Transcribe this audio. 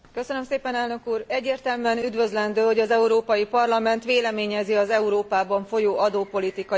Egyértelműen üdvözlendő, hogy az Európai Parlament véleményezi az Európában folyó adópolitikai kérdéseket.